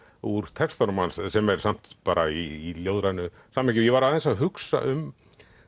úr textunum hans sem er samt bara í ljóðrænu samhengi ég var aðeins að hugsa um